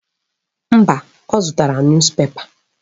Mba, ọ zụtara nus pepa.